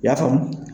I y'a faamu